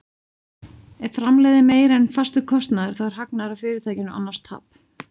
Ef framlegð er meiri en fastur kostnaður þá er hagnaður af fyrirtækinu, annars tap.